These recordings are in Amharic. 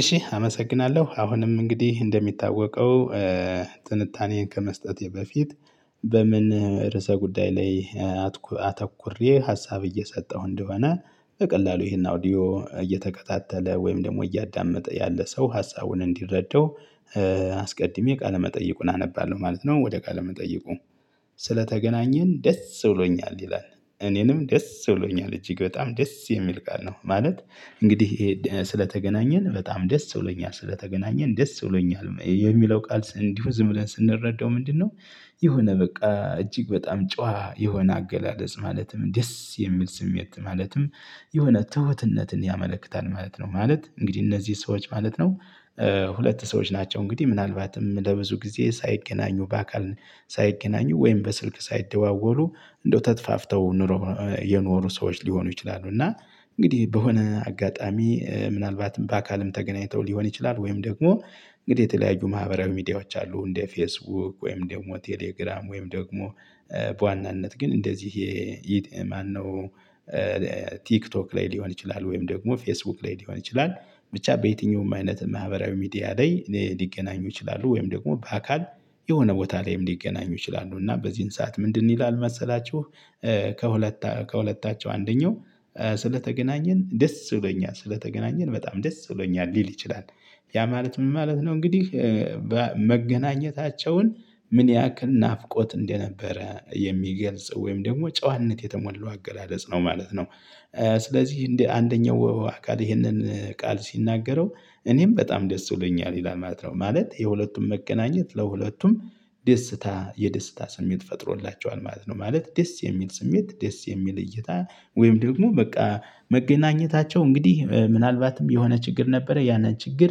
እሺ አመሰግናለሁ አሁንም እንግዲህ እንደሚታወቀው ትንታኔየን ከመስጠቴ በፊት በምን ርዕሰ ጉዳይ ላይ አተኩሬ ሀሳብ እየሰጠሁ እንደሆነ በቀላሉ ይሄን አውዲዮ እየተከታተለ ወይም ደግሞ እያዳመጠ ያለ ሰው ሀሳቡን እንዲረዳው አስቀድሜ ቃለመጠይቁን አነባለሁ ማለት ነው። ወደ ቃለመጠይቁ ስለተገናኘን ደስ ብሎኛል ይላል እኔንም ደስ ብሎኛል እጅግ በጣም ደስ የሚል ቃል ነው። ማለት እንግዲህ ስለተገናኘን በጣም ደስ ብሎኛል ስለተገናኘን ደስ ብሎኛል የሚለው ቃል እንዲሁ ዝም ብለን ስንረዳው ምንድነው? የሆነ በቃ እጅግ በጣም ጨዋ የሆነ አገላለጽ ማለትም ደስ የሚል ስሜት ማለትም የሆነ ትሁትነትን ያመለክታል ማለት ነው። ማለት እንግዲህ እነዚህ ሰዎች ማለት ነው። ሁለት ሰዎች ናቸው እንግዲህ ምናልባትም ለብዙ ጊዜ ሳይገናኙ በአካል ሳይገናኙ ወይም በስልክ ሳይደዋወሉ እንዳው ተጥፋፍተው ኑሮ የኖሩ ሰዎች ሊሆኑ ይችላሉ። እና እንግዲህ በሆነ አጋጣሚ ምናልባትም በአካልም ተገናኝተው ሊሆን ይችላል። ወይም ደግሞ እንግዲህ የተለያዩ ማህበራዊ ሚዲያዎች አሉ እንደ ፌስቡክ ወይም ደግሞ ቴሌግራም ወይም ደግሞ በዋናነት ግን እንደዚህ። ማነው? ቲክቶክ ላይ ሊሆን ይችላል ወይም ደግሞ ፌስቡክ ላይ ሊሆን ይችላል። ብቻ በየትኛውም አይነት ማህበራዊ ሚዲያ ላይ ሊገናኙ ይችላሉ። ወይም ደግሞ በአካል የሆነ ቦታ ላይም ሊገናኙ ይችላሉ። እና በዚህን ሰዓት ምንድን ይላል መሰላችሁ? ከሁለታ ከሁለታቸው አንደኛው ስለተገናኘን ደስ ብሎኛል ስለተገናኘን በጣም ደስ ብሎኛል ሊል ይችላል። ያ ማለት ምን ማለት ነው እንግዲህ። መገናኘታቸውን ምን ያክል ናፍቆት እንደነበረ የሚገልጽ ወይም ደግሞ ጨዋነት የተሞላው አገላለጽ ነው ማለት ነው። ስለዚህ እንደ አደኛው አካል ይሄንን ቃል ሲናገረው እኔም በጣም ደስ ብሎኛል ይላል ማለት ነው። ማለት የሁለቱም መገናኘት ለሁለቱም ደስታ የደስታ ስሜት ፈጥሮላቸዋል ማለት ነው። ማለት ደስ የሚል ስሜት ደስ የሚል እይታ ወይም ደግሞ በቃ መገናኘታቸው እንግዲህ ምናልባትም የሆነ ችግር ነበረ ያንን ችግር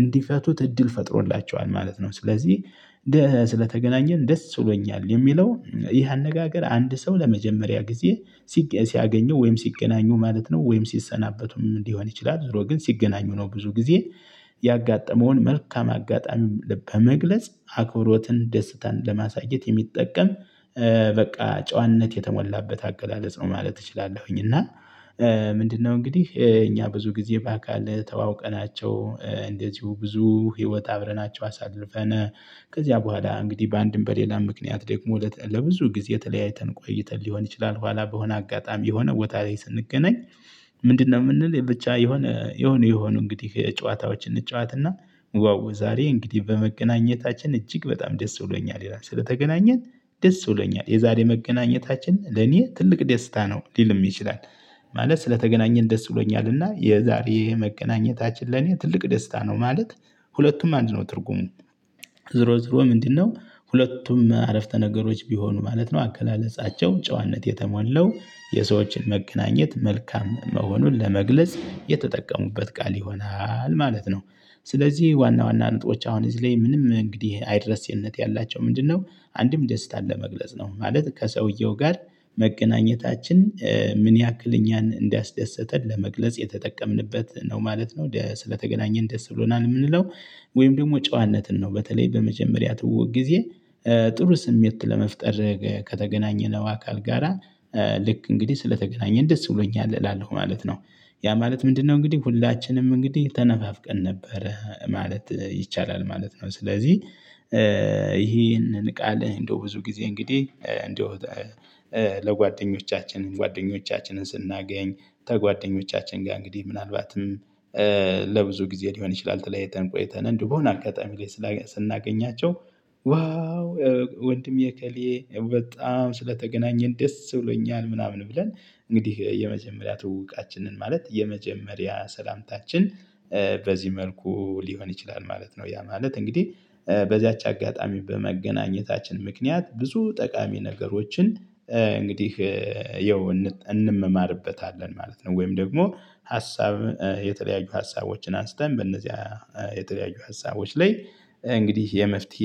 እንዲፈቱት እድል ፈጥሮላቸዋል ማለት ነው። ስለዚህ ስለተገናኘን ደስ ብሎኛል የሚለው ይህ አነጋገር አንድ ሰው ለመጀመሪያ ጊዜ ሲያገኘው ወይም ሲገናኙ ማለት ነው። ወይም ሲሰናበቱም ሊሆን ይችላል ዞሮ ግን ሲገናኙ ነው። ብዙ ጊዜ ያጋጠመውን መልካም አጋጣሚ በመግለጽ አክብሮትን ደስታን ለማሳየት የሚጠቀም በቃ ጨዋነት የተሞላበት አገላለጽ ነው። ማለት እችላለሁኝ። እና ምንድነው እንግዲህ እኛ ብዙ ጊዜ በአካል ተዋውቀናቸው እንደዚው ብዙ ህይወት አብረናቸው አሳልፈነ ከዚያ በኋላ እንግዲህ በአንድም በሌላ ምክንያት ደግሞ ለብዙ ጊዜ ተለያይተን ቆይተን ሊሆን ይችላል። በኋላ በሆነ አጋጣሚ የሆነ ቦታ ላይ ስንገናኝ። ምንድነው ምንል ብቻ የሆነ የሆነ የሆኑ እንግዲህ ጨዋታዎችን እንጨዋታና ዋው ዛሬ እንግዲህ በመገናኘታችን እጅግ በጣም ደስ ብሎኛል ይላል ስለተገናኘን ደስ ብሎኛል የዛሬ መገናኘታችን ለኔ ትልቅ ደስታ ነው ሊልም ይችላል። ማለት ስለተገናኘን ደስ ብሎኛልና የዛሬ ይሄ መገናኘታችን ለኔ ትልቅ ደስታ ነው ማለት። ሁለቱም አንድ ነው ትርጉም። ዞሮ ዞሮ ምንድነው ሁለቱም አረፍተ ነገሮች ቢሆኑ ማለት ነው አገላለፃቸው ጨዋነት የተሞላው የሰዎችን መገናኘት መልካም መሆኑን ለመግለጽ የተጠቀሙበት ቃል ይሆናል ማለት ነው። ስለዚህ ዋና ዋና ነጥቦች አሁን እዚህ ላይ ምንም እንግዲህ አይረሴነት ያላቸው ምንድነው? አንድም ደስታን ለመግለጽ ነው ማለት ከሰውየው ጋር መገናኘታችን ምን ያህል እኛን እንዳስደሰተን ለመግለጽ የተጠቀምንበት ነው ማለት ነው። ስለተገናኘን ደስ ብሎናል ምንለው ወይም ደግሞ ጨዋነትን ነው በተለይ በመጀመሪያ ትውውቅ ጊዜ ጥሩ ስሜት ለመፍጠር ከተገናኘነው አካል ጋራ ልክ እንግዲህ ስለተገናኘን ደስ ብሎኛል እላለሁ ማለት ነው። ያ ማለት ምንድነው እንግዲህ ሁላችንም እንግዲህ ተነፋፍቀን ነበረ ማለት ይቻላል ማለት ነው። ስለዚህ። እሂንን ቃል እንደው ብዙ ጊዜ እንግዲህ እንደው ለጓደኞቻችን ጓደኞቻችንን ስናገኝ ከጓደኞቻችን ጋር እንግዲህ ምናልባትም ለብዙ ጊዜ ሊሆን ይችላል። ተለያይተን ቆይተን እንደው በሆነ አጋጣሚ ላይ ስናገኛቸው ዋው ወንድሜ እከሌ በጣም ስለተገናኘን ደስ ብሎኛል ምናምን ብለን እንግዲህ የመጀመሪያ ትውውቃችንን ማለት የመጀመሪያ ሰላምታችን። በዚህ መልኩ ሊሆን ይችላል ማለት ነው። ያ ማለት እንግዲህ በዚያች አጋጣሚ በመገናኘታችን ምክንያት ብዙ ጠቃሚ ነገሮችን። እንግዲህ የው እንመማርበታለን ማለት ነው። ወይም ደግሞ ሀሳብ የተለያዩ ሀሳቦችን አንስተን በእነዚያ የተለያዪ ሀሳቦች ላይ እንግዲህ የመፍትሄ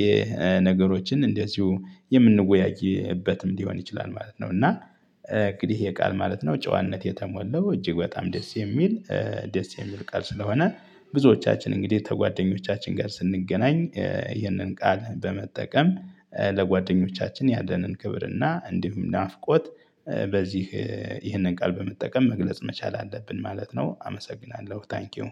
ነገሮችን እንደዚሁ የምንወያይበትም ሊሆን ይችላል ማለት ነው። እና እንግዲህ ይህ የቃል ማለት ነው። ጨዋነት የተሞላው እጅግ በጣም ደስ የሚል ደስ የሚል ቃል ስለሆነ ብዙዎቻችን እንግዲህ ተጓደኞቻችን ጋር ስንገናኝ ይህንን ቃል በመጠቀም ለጓደኞቻችን ያለንን ክብር እና እንዲሁም ናፍቆት በዚህ ይህንን ቃል በመጠቀም መግለጽ መቻል አለብን ማለት ነው። አመሰግናለሁ ታንኪው